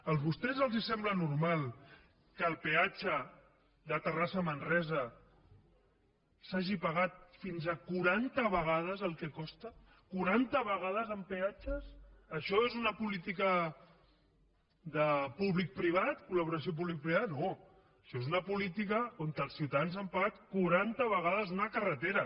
a vostès els sembla normal que el peatge de terrassa a manresa s’hagi pagat fins a quaranta vegades el que costa quaranta vegades en peatges això és una política de públic privat colaixò és una política on els ciutadans han pagat quaranta vegades una carretera